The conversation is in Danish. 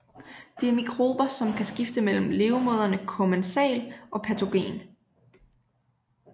Det er mikrober som kan skifte mellem levemåderne kommensal og patogen